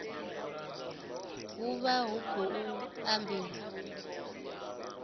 hu vha hu khou ambiwa